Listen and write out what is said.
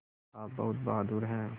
आप बहुत बहादुर हैं